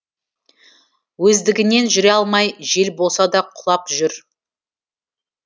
өздігінен жүре алмай жел болса да құлап жүрді